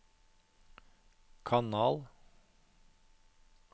kanal